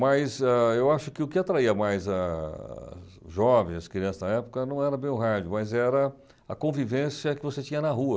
Mas ah eu acho que o que atraía mais ah os jovens, as crianças da época, não era bem o rádio, mas era a convivência que você tinha na rua.